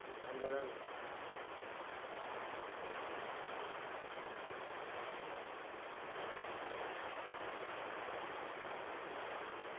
നല്ലതാണ്